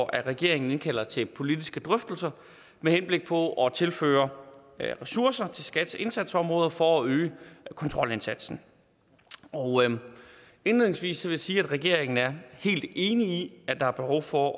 at regeringen indkalder til politiske drøftelser med henblik på at tilføre ressourcer til skats indsatsområde for at øge kontrolindsatsen indledningsvis vil jeg sige at regeringen er helt enig i at der er behov for